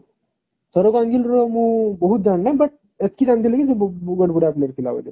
ସୌରବ ଗାଙ୍ଗୁଲୀ ର ମୁଁ ବହୁତ ଜାଣି ନାହିଁ but ଏତିକି ଜାଣି ଦେଲି ଯେ ବହୁତ ବାଧ୍ୟ player ଥିଲା ବୋଲି